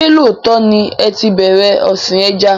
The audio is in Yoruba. Ṣé lóòtọ́ ni ẹ tí bẹ̀rẹ̀ ọ̀sìn ẹja?